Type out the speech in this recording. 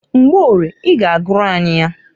Mgborie i g'agụrụ anyị ya.